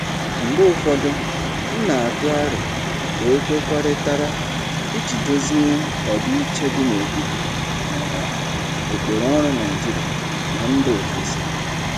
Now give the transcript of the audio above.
Mgbe ụfọdụ, m na-atụ aro ka e kwekọrịtara iji dozie ọdịiche dị n'etiti um ụkpụrụ ọrụ Naijiria na mba ofesi.